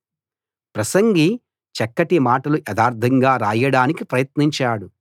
ప్రసంగి చక్కటి మాటలు యథార్థంగా రాయడానికి ప్రయత్నించాడు